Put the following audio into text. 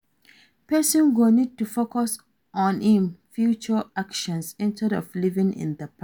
Person go need to focus on im future actions instead of living in the past